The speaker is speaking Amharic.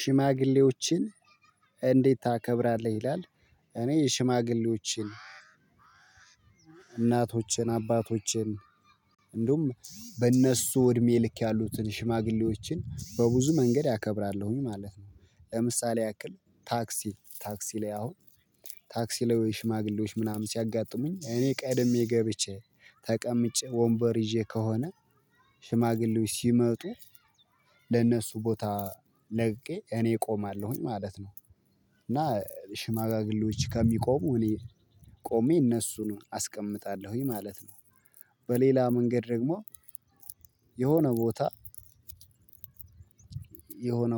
"ሽማግሌዎችን እንዴት ታከብራለህ?" ይላል እኔ ሽማግሌዎችን እናቶችን፣ አባቶችን እንደውም በእነሱ እድሜ ልክ ያሉትን ሽማግሌዎችን በብዙ መንገድ አከብራለሁኝ ማለት ነው። ለምሳሌ ያክል አሁን ታክሲ ላይ ሽማግሌዎች ምናምን ሲያጋጥሙኝ እኔ ቀድሜ ገብቼ ተቀምጬ ወንበር ይዤ ከሆነ ሽማግሌው ሲመጡ ለነሱ ቦታ ለቅቄ እኔ እቆማለሁኝ ማለት ነው። እና ሽማግሌወች ከሚቆሙ እኔ ቆሜ እነሱን አስቀምጣለሁኝ ማለት ነው። በሌላ መንገድ ደግሞ የሆነ ቦታ የሆነ